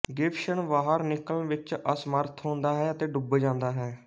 Gibson ਬਾਹਰ ਨਿਕਲਣ ਵਿੱਚ ਅਸਮਰੱਥ ਹੁੰਦਾ ਹੈ ਅਤੇ ਡੁੱਬ ਜਾਂਦਾ ਹੈ